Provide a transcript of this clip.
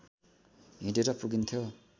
हिँडेर पुगिन्थ्यो